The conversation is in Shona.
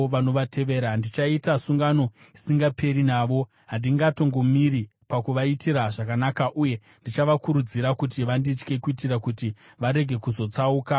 Ndichaita sungano isingaperi navo: handingatongomiri pakuvaitira zvakanaka uye ndichavakurudzira kuti vanditye, kuitira kuti varege kuzotsauka kubva kwandiri.